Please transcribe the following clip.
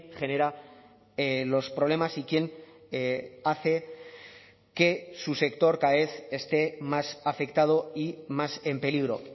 genera los problemas y quién hace que su sector cada vez esté más afectado y más en peligro